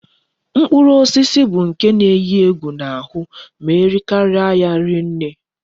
Ufodu mkpụrụ osisi bu nke na eyi egwu na ahu ma erikaria ya rie nne